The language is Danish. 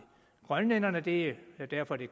grønlænderne og det er derfor det